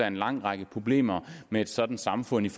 en lang række problemer med et sådant samfund